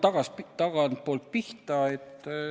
Ma hakkan tagantpoolt pihta.